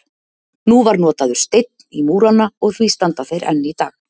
Nú var notaður steinn í múrana og því standa þeir enn í dag.